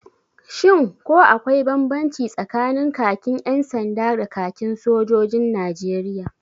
Shin ko akwai banbanci tsakanin kakin 'yan sanda da kakin sojojin Najeriya?